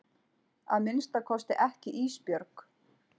Að minnsta kosti ekki Ísbjörg.